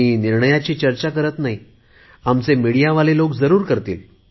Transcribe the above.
मी निर्णयाची चर्चा करत नाही आमच्या प्रसारमाध्यमातले लोक जरुर करतील